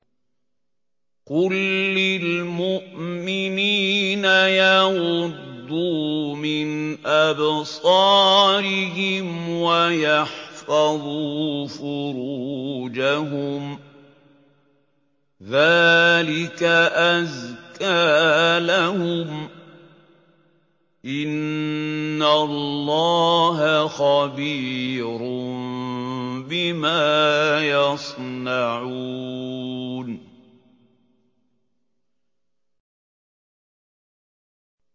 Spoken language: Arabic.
قُل لِّلْمُؤْمِنِينَ يَغُضُّوا مِنْ أَبْصَارِهِمْ وَيَحْفَظُوا فُرُوجَهُمْ ۚ ذَٰلِكَ أَزْكَىٰ لَهُمْ ۗ إِنَّ اللَّهَ خَبِيرٌ بِمَا يَصْنَعُونَ